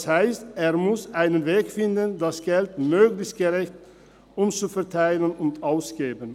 Das heisst, er muss einen Weg finden, das Geld möglichst gerecht umzuverteilen und auszugeben.